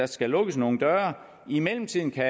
skal lukkes nogen døre i mellemtiden kan